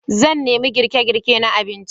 Zan nemi girke-girke na abinci.